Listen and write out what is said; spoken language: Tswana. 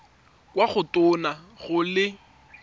kwa go tona go le